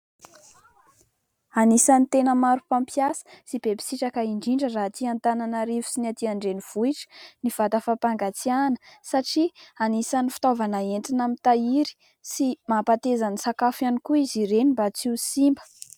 Anisany tena maro mpampiasa sy be mpisitraka indrindra raha aty Antananarivo sy ny aty andrenivohitra ny vata fampangatsiahana satria anisan'ny fitaovana entina mitahiry sy mampateza ny sakafo ihany koa izy ireny mba tsy ho simba.